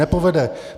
Nepovede.